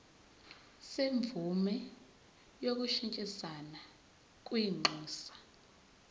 semvume yokushintshisana kwinxusa